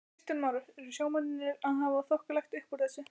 Kristján Már: Eru sjómennirnir að hafa þokkalegt uppúr þessu?